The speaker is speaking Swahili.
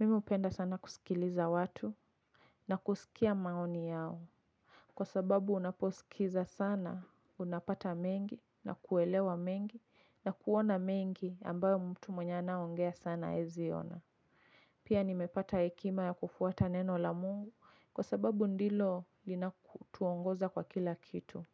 Mimi hupenda sana kusikiliza watu na kusikia maoni yao. Kwa sababu unaposikiza sana, unapata mengi na kuelewa mengi na kuona mengi ambayo mtu mwenye anaongea sana aezi ona. Pia nimepata hekima ya kufuata neno la mungu kwa sababu ndilo linako tuongoza kwa kila kitu.